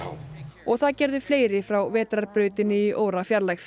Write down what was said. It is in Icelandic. og það gerðu fleiri frá vetrarbrautinni í órafjarlægð